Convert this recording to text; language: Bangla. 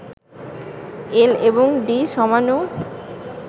এল এবং ডি সমাণু